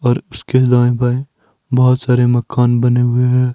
और उसके दाएं बाएं बहोत सारे मकान बने हुए हैं।